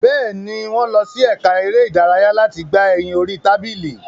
Bẹ́ẹ̀ni, wọ́n lọ sí ẹka eré ìdárayá láti gbà ẹyin orí tábìlì.